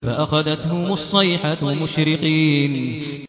فَأَخَذَتْهُمُ الصَّيْحَةُ مُشْرِقِينَ